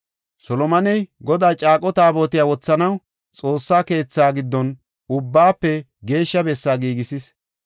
Solomoney Godaa caaqo taabotiya wothanaw Xoossa keetha giddon Ubbaafe Geeshsha Bessaa giigisis.